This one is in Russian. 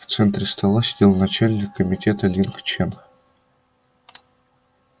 в центре стола сидел начальник комитета линг чен